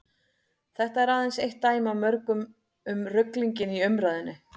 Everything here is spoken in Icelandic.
þetta er aðeins eitt dæmi af mörgum um ruglinginn í umræðunni